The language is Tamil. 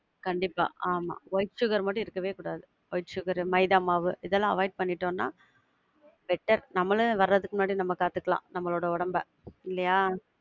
கண்டிப்பா ஆமா. white sugar மட்டும் எடுக்கவே கூடாது. white sugar, maida மாவு, இதெல்லாம் avoid பண்ணிட்டோம்னா, better நம்மளே வரதுக்கு முன்னாடி நம்ம காத்துக்கலாம் நம்மளோட ஒடம்ப இல்லையா?